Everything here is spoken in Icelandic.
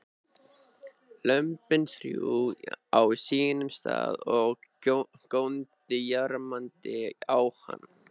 Lömbin þrjú á sínum stað og góndu jarmandi á hann.